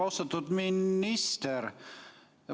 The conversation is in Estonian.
Austatud minister!